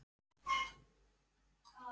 Hleypur í áttina að sjónum.